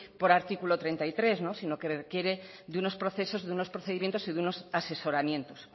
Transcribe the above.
por artículo treinta y tres sino que quiere de unos procesos de unos procedimientos y de unos asesoramientos